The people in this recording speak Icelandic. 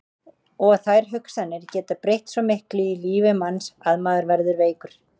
Og þær hugsanir geta breytt svo miklu í lífi manns að maður verður veikur.